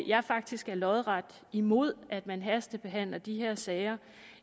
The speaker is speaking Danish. jeg faktisk er lodret imod at man hastebehandler de her sager